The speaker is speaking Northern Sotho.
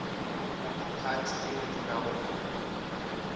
diphathi tšeo di nago le